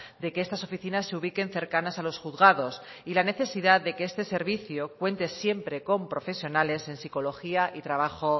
de que estas oficinas se ubiquen cercanas a los juzgados y la necesidad de que este servicio cuente siempre con profesionales en psicología y trabajo